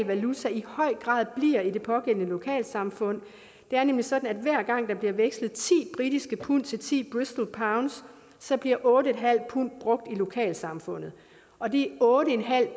valuta i høj grad bliver i det pågældende lokalsamfund det er nemlig sådan at hver gang der bliver vekslet ti britiske pund til ti bristolpund så bliver otte pund brugt i lokalsamfundet og de otte